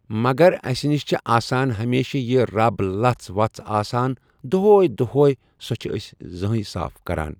مگر اسہِ نِش چھ آسان ہمیشہٕ یہِ رَب لژھ وژھ آسان دۄہَے دۄہَے سۄ چھ أسۍ زٕہٕنٛہے صاف آسان۔